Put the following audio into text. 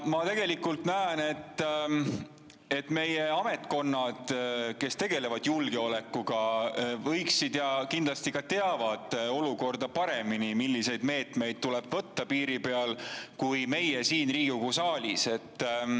Ma, et meie ametkonnad, kes tegelevad julgeolekuga, kindlasti teavad olukorda paremini kui meie siin Riigikogu saalis ja teavad, milliseid meetmeid tuleb võtta piiri peal.